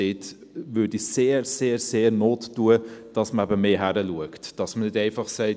Dort würde es sehr, sehr Not tun, dass man eben hinschaut, dass man nicht einfach sagt: